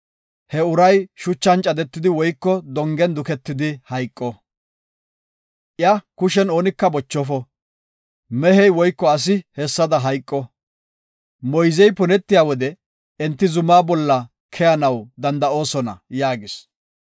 He uray shuchan cadetidi woyko dongen duketidi hayqo; iya kushen oonika bochofo. Mehey woyko asi hessada hayqo. Moyzey punetiya wode enti zumaa bolla keyanaw danda7oosona” yaagis.